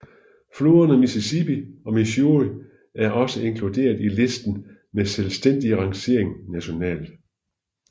Floderne Mississippi og Missouri er også inkluderet i listen med selvstændig rangering nationalt